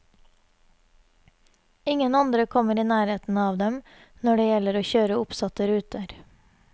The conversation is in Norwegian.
Ingen andre kommer i nærheten av dem når det gjelder å kjøre oppsatte ruter.